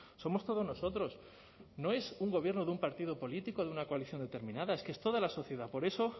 somos todos nosotros no es un gobierno de un partido político de una coalición determinada es que es toda la sociedad por eso